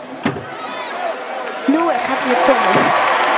Nú er kallið komið.